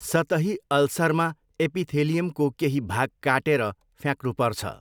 सतही अल्सरमा एपिथेलियमको केही भाग काटेर फ्याँक्नुपर्छ।